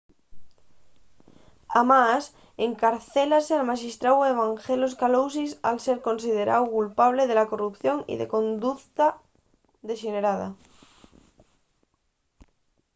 además encarcélase al maxistráu evangelos kalousis al ser consideráu culpable de corrupción y conducta dexenerada